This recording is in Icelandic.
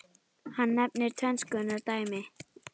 Hann nefnir tvenns konar dæmi